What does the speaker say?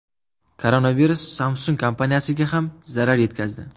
Koronavirus Samsung kompaniyasiga ham zarar yetkazdi.